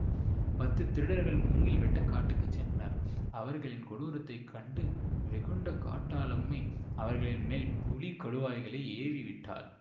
பத்து திருடர்கள் மூங்கில் வெட்ட காட்டுக்குச் சென்றனர் அவர்களின் கொடூரத்தைக் கண்டு வெகுண்ட காட்டாளம்மை அவர்களின் மேல் புலி கடுவாய்களை ஏவிவிட்டாள்